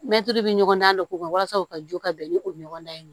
Mɛtiri bɛ ɲɔgɔn na k'o kɛ walasa o ka jo ka bɛn ni o ɲɔgɔn ye